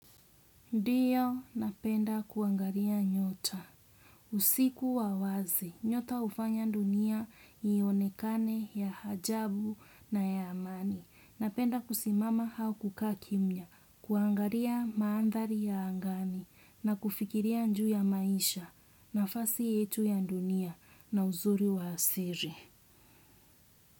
Ndiyo, napenda kuangaria nyota. Usiku wa wazi, nyota ufanya ndunia ionekane ya hajabu na ya amani. Napenda kusimama hau kukaa kimya, kuangaria maandhali ya angani na kufikiria nju ya maisha nafasi yetu ya ndunia na uzuri wa siri.